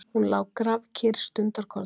Hún lá grafkyrr stundarkorn.